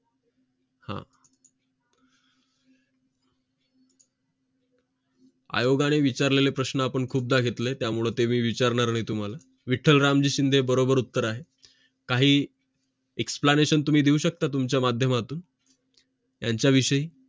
आयोगाने विचारलेले प्रश्न आपण खुदा घेतले त्यामुळे मी विचारणार नाही तुम्हाला विठ्ठल रामजी शिंदे बरोबर उत्तर आहे काही explanation तुम्ही देऊ शकता तुमच्या माध्यमातून यांच्याविषयी